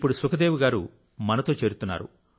ఇప్పుడు సుఖ్ దేవి గారు మనతో చేరుతున్నారు